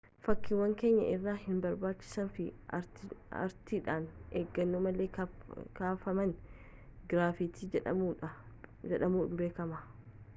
fakkiiwwan keenya irraa hinbarbaachisnee fi ariitiidhaan eeggannoo malee kaafaman giraafitii jedhamuudhaan beekamu